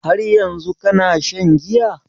Har yanzun kana shan giya?